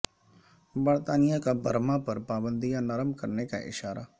برطانیہ کا برما پر پابندیاں نرم کرنے کا اشارہ